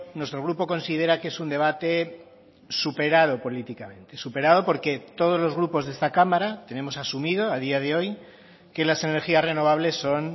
nuestro grupo considera que es un debate superado políticamente superado porque todos los grupos de esta cámara tenemos asumido a día de hoy que las energías renovables son